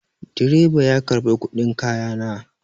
Direba ya karɓi kuɗin kaya na.